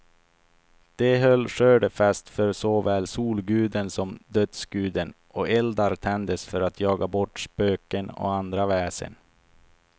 De höll skördefest för såväl solguden som dödsguden, och eldar tändes för att jaga bort spöken och andra väsen.